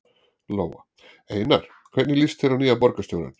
Lóa: Einar, hvernig líst þér á nýja borgarstjórann?